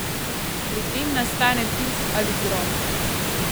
Pri tem nastane tuf ali groh.